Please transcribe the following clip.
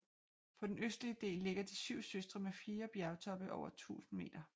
På den østlige del ligger De syv søstre med fire bjergtoppe over 1000 meter